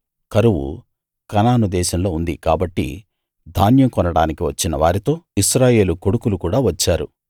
కరువు కనాను దేశంలో ఉంది కాబట్టి ధాన్యం కొనడానికి వచ్చిన వారితో ఇశ్రాయేలు కొడుకులు కూడా వచ్చారు